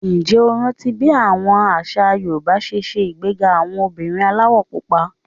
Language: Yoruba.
Ǹjẹ́ o rántí bí àṣà Yorùbá ṣe ṣe ìgbéga àwọn obìnrin aláwọ̀ Pupa?